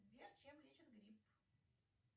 сбер чем лечат грипп